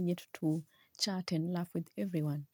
need to chat and laugh with everyone.